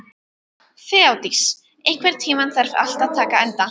Þeódís, einhvern tímann þarf allt að taka enda.